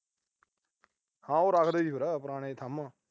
ਹਾਂ ਉਹ ਰੱਖਦੇ ਸੀ ਫਿਰ, ਪੁਰਾਣੇ ਥੰਮ੍ਹ।